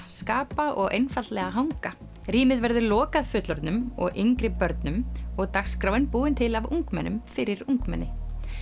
skapa og einfaldlega hanga rýmið verður lokað fullorðnum og yngri börnum og dagskráin búin til af ungmennum fyrir ungmenni